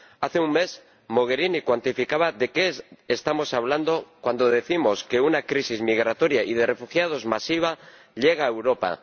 Hace un mes, la señora Mogherini cuantificaba de qué estamos hablando cuando decimos que una crisis migratoria y de refugiados masiva llega a Europa.